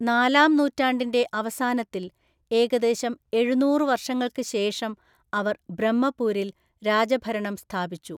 നാലാം നൂറ്റാണ്ടിന്റെ അവസാനത്തിൽ, ഏകദേശം എഴുനൂറു വർഷങ്ങൾക്ക് ശേഷം അവർ ബ്രഹ്മപൂരിൽ രാജഭരണം സ്ഥാപിച്ചു.